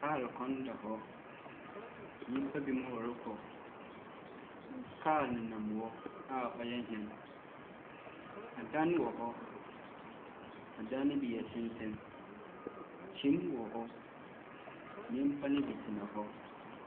Lɔɔre kwan da hɔ. Nnipa binom ɔrekɔ. Kaa nenam hɔ a wɔyɛ hun. Adan wɔhɔ, adan no bi yɛ tenten. Kyinne wɔ hɔ, nipa no bi tena hɔ.